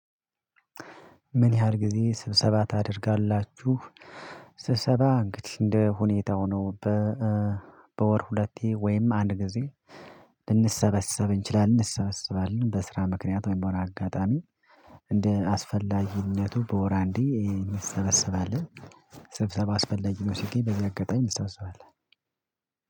ምን ያህል ጊዜ ስብሰባ ታደርጋላችሁ? ስብሰባ እንግዲህ እንደ ሁኔታው ነው። በወር ሁለቴ ወይም አንድ ጊዜ ልንሰበሰብ እንችላለን እንሰበስባለን በስራ ምክንያት ወይም በሆነ አጋጣሚ እንደ አስፈላጊነቱ በወር አንዴ እንሰበስባለን። ስብሰባ አስፈላጊ ነው ሲገኝ በዚህ አጋጣሚ እናስባለን።